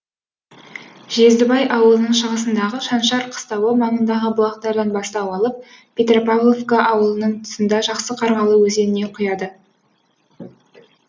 жездібай ауылының шығысындағы шаншар қыстауы маңындағы бұлақтардан бастау алып петропавловка ауылының тұсында жақсы қарғалы өзеніне құяды